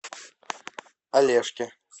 олежке